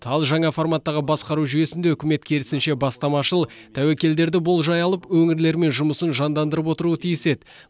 ал жаңа форматтағы басқару жүйесінде үкімет керісінше бастамашыл тәуекелдерді болжай алып өңірлермен жұмысын жандандырып отыруы тиіс еді